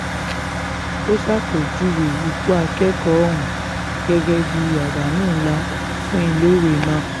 ó ṣàpèjúwe ikú akẹ́kọ̀ọ́ ọ̀hún gẹ́gẹ́ bíi àdánù ńlá fún iléèwé náà